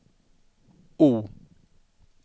O